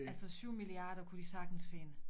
Altså 7 milliarder kunne de sagtens finde